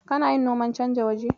Kana yin noman canja waje?